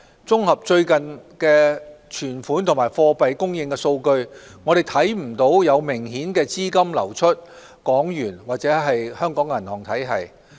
綜合最近的存款和貨幣供應數據，我們看不到有明顯資金流出港元或香港銀行體系。